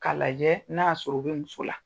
K'a lajɛ n'a y'a sɔrɔ, o be muso la.